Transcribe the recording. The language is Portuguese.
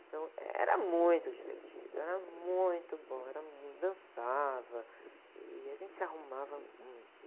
Então era muito divertido, era muito bom, era muito, dançava e a gente se arrumava muito.